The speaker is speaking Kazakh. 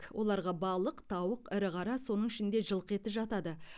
оларға балық тауық ірі қара соның ішінде жылқы еті жатады